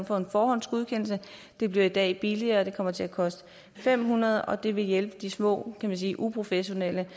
få en forhåndsgodkendelse det bliver i dag billigere det kommer til at koste fem hundrede kr og det vil hjælpe de små uprofessionelle